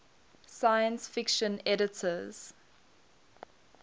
science fiction editors